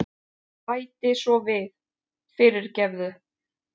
Bæti svo við, fyrirgefðu.